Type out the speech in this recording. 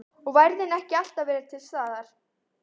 Og værðin ekki alltaf verið til staðar.